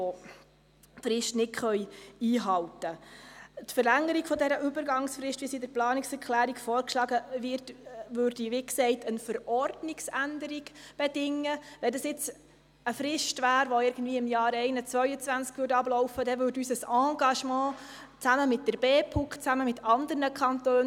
Seite 38, RPB 2018 – Bestehende Gebäude ausserhalb der Bauzone sollen genutzt werden können, sofern sie genügend erschlossen sind – Geringfügige Volumenerweiterungen zur besseren Ausnutzung bestehender Gebäude ausserhalb der Bauzone